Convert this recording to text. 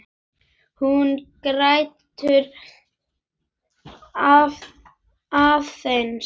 Hún grætur aðeins meira.